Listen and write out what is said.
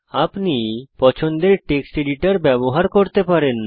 আপনি পছন্দের text editor ব্যবহার করতে পারেন